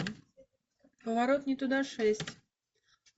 поворот не туда шесть